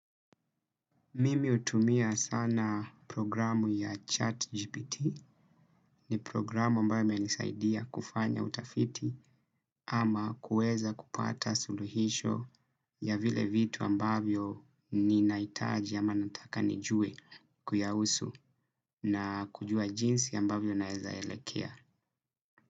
Mimi hutumia sana programu ya ChatGPT ni programu ambayo imenisaidia kufanya utafiti ama kuweza kupata suluhisho ya vile vitu ambavyo ninahitaji ama nataka nijue kuyahusu na kujua jinsi ambavyo inawezaelekea.